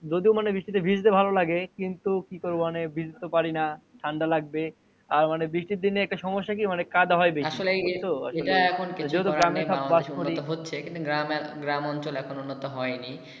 যদিও মানে বৃষ্টিতে ভিজতে ভালো লাগে কিন্তু কি করবো ভিজতে তো পারি না ঠান্ডা লাগবে আর বৃষ্টির দিনে একটা সমস্যা কি মানে কাদা হয় বেশি আসলে এ তো কিছু করে নাই বাংলাদেশ উন্নত হচ্ছে কিন্তু গ্রাম অঞ্চল এখনও উন্নত হয়নি